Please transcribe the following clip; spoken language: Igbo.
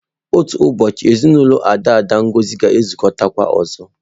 Otu ụbọchị, ezinụlọ daada Ngozi ga-anọkọkwa ọzọ.